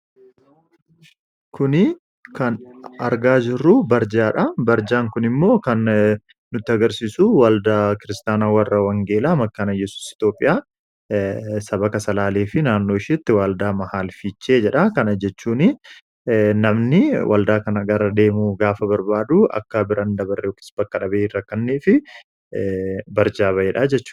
kuni kan argaa jirruu barjaa dha barjaan kun immoo kan nuti agarsiisu waldaa kiristaana warra wangeelaa makkaanayyesus itoophiyaa sabaka salaalii fi naannoo ishitti waldaa mahaal fichee jedha kana jechuun namni waldaa kana garadeemuu gaafa barbaadu akka biran dabarre oks bakka dhabee rakkannii fi barjaa baeedha jechuu